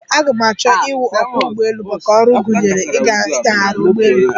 Ee, aga m achọ iwụ ọkwọ́ ụgbọelu, maka ọrụ gụnyere inyagharị ụgbọelu.